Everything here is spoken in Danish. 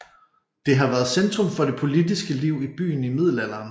Det har været centrum for det politiske liv i byen i middelalderen